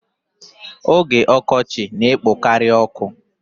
Oge ọkọchị na-ekpokari ọkụ.